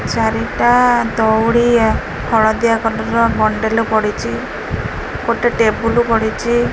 ଚାରିଟା ଦଉଡ଼ି ଆ ହଳଦିଆ କଲର୍ ର ବଣ୍ଡଲ୍ ପଡ଼ିଚି ଗୋଟେ ଟେବୁଲ ପଡ଼ିଚି।